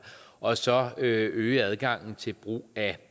og så at øge adgangen til brug af